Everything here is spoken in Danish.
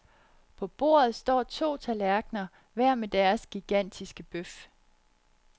På bordet står to tallerkener hver med deres gigantiske bøf.